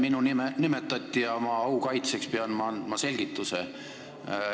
Minu nime nimetati ja oma au kaitseks pean ma andma selgituse.